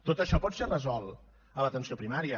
tot això pot ser resolt a l’atenció primària